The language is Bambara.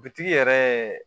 Butigi yɛrɛ